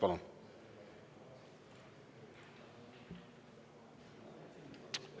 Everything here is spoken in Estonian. Palun!